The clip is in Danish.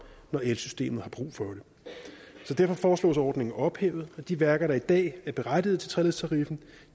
når elsystemet har brug for det så derfor foreslås ordningen ophævet og de værker der i dag er berettiget til treledstariffen